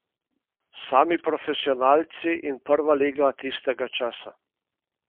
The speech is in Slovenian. Sami profesionalci in prva liga tistega časa.